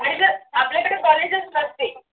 आणि जर आपल्याकडे college च नसते